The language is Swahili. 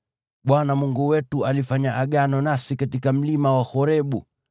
Bwana Mungu wetu alifanya Agano nasi katika mlima wa Horebu.